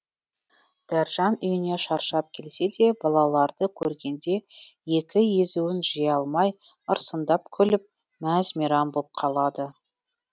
дәржан үйіне шаршап келсе де балаларды көргенде екі езуін жия алмай ырсыңдап күліп мәз мейрам боп қалады